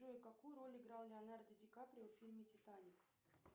джой какую роль играл леонардо ди каприо в фильме титаник